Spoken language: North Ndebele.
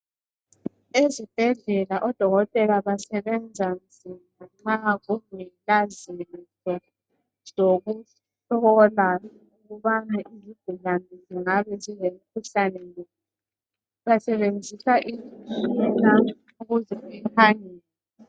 Ezibhedlela odokotela basebenza nzima nxa kungela zinto zokuhlola ukubana izigulane zingabe zilemikhuhlane iphi .Basebenzisa imitshina ukuze bekhangele.